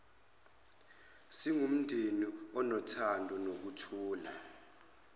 singumndeni onothando nokuthula